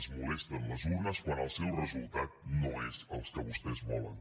els molesten les urnes quan el seu resultat no és el que vostès volen